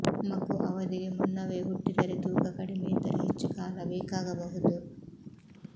ಮಗು ಅವಧಿಗೆ ಮುನ್ನವೇ ಹುಟ್ಟಿದರೆ ತೂಕ ಕಡಿಮೆ ಇದ್ದರೆ ಹೆಚ್ಚು ಕಾಲ ಬೇಕಾಗಬಹುದು